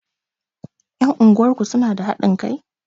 Ƴan unguwar ku suna da haɗin kai?